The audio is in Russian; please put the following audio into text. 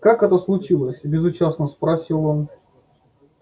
как это случилось безучастно спросил он